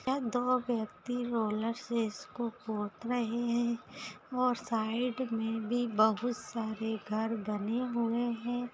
यह दो व्यक्ति रोलर से इसको पोत रहे हैं और साइड में भी बहुत सारे घर बने हुए हैं।